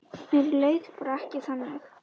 Mér leið bara ekki þannig.